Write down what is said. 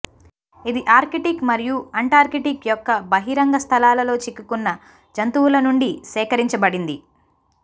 ఇది ఆర్కిటిక్ మరియు అంటార్కిటిక్ యొక్క బహిరంగ స్థలాలలో చిక్కుకున్న జంతువుల నుండి సేకరించబడింది